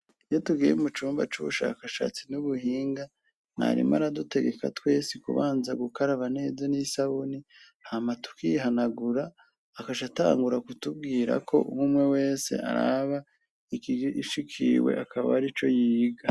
Iyo tugiye mu cumba c'ubushakashatsi n'ubuhinga , mwarimu aradutegeka twese kubanza gukaraba neza n’isabuni, hama tukihanagura, akac’atangura kutubwira ko umumwe wese araba ikiy ishikiwe akaba ari co yiga.